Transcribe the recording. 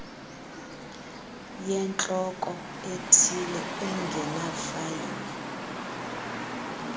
yentloko ethile engenafayile